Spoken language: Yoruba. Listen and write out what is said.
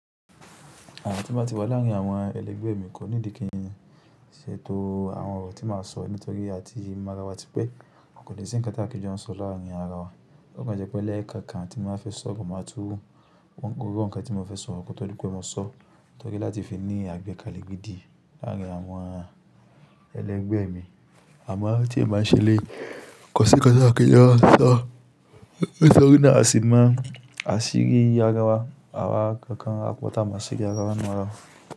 Àwọn tí mo ti bá wà láàrin àwọn ẹlẹgbẹ́ mi kò ní di kí n ṣe tó àwọn ọ̀rọ̀ tí màá sọ, nítorí a ti mọ ara wa tí pé a kò dẹ̀ sí innkan ti aki n jọ sọ láàrin ara wa. Ó kan jẹ́ pé lẹ́ẹ̀kan kan tí mo máa fẹ́ sọ, mo máa tú gbogbo irú ọ̀ǹkà tí mo fẹ́ sọ, kò tó dípé mo sọ, torí láti fi ní àgbékalẹ̀ gidi láàrin àwọn ẹlẹgbẹ́ mi. Àmọ́ tí ẹ máa ń ṣe lé, kọ̀sí innkan ti aki n jọ sọ, nítorí náà a sì mo aṣíri ara wa, àwa kankan á pọ̀ tá a mo aṣíri ara wa nínú ara wa.